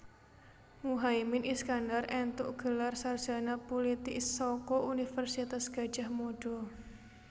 Muhaimin Iskandar éntuk gelar sarjana pulitik saka Universitas Gadjah Mada